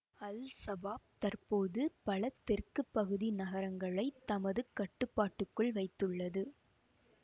Al-Shabaab தற்போது பல தெற்கு பகுதி நகரங்களைத் தமது கட்டுப்பாட்டுக்குள் வைத்துள்ளது